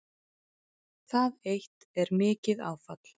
Það eitt er mikið áfall